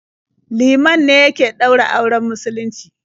Liman ne yake ɗaura auren musulunci.